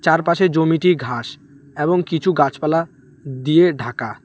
তার পাশে জমিটি ঘাস এবং কিছু গাছপালা দিয়ে ঢাকা।